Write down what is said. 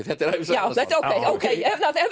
þetta er ævisaga ókei